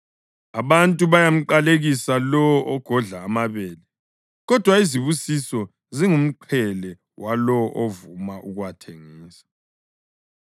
Abantu bayamqalekisa lowo ogodla amabele, kodwa izibusiso zingumqhele walowo ovuma ukuwathengisa.